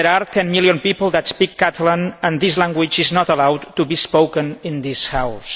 Ten million people speak Catalan, and this language is not allowed to be spoken in this House.